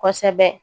Kosɛbɛ